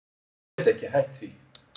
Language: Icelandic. Ég get ekki hætt því.